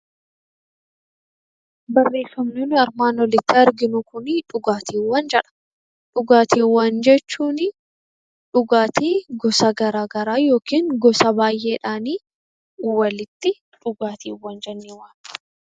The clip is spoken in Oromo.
Dhugaatiiwwan jechuun dhugaatiiwwan gosa garaagaraa yookiin gosa baay'eedhaan walitti dhugaatiiwwan jennee waamna